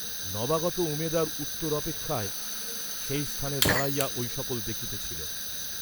নবাগত উমেদার উত্তর অপেক্ষায় সেই স্থানে দাঁড়াইয়া ঐ সকল দেখিতেছিল।